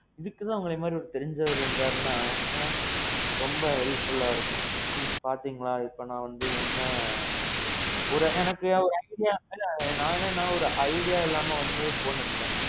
இதுக்கு தான் உங்கள மாதிரி தெரிஞ்சவரு இருந்தாருன்னா. ரொம்ப helpfulஅ இருக்கும். ம்ம். பாத்திங்களா இப்போ நான் வந்து என்ன. ஒரு எனக்கு வசதியா நான் என்னன்னா வந்து ஒரு idea இல்லாம வந்து phone எடுத்துட்டேன்.